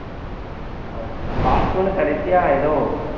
அஹ் part one கடைசியா ஏதோ